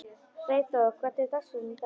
Freyþór, hvernig er dagskráin í dag?